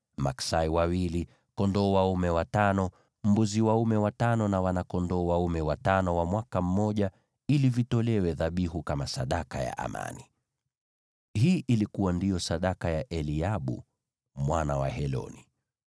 maksai wawili, kondoo dume watano, mbuzi dume watano na wana-kondoo dume watano wa mwaka mmoja, ili vitolewe dhabihu kama sadaka ya amani. Hii ndiyo ilikuwa sadaka ya Eliabu mwana wa Heloni.